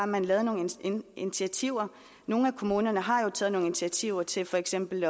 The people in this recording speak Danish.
man lavede nogle initiativer nogle af kommunerne har jo taget nogle initiativer til for eksempel